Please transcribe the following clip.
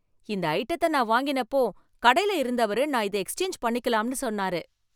இந்த ஐட்டத்தை நான் வாங்கினப்போ, கடையில இருந்தவரு நான் இதை எக்ஸ்சேஞ்ச் பண்ணிக்கலாம்னு சொன்னாரு.